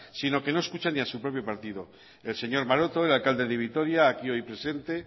sino que no escucha ni a su propio partido el señor maroto el alcalde de vitoria aquí hoy presente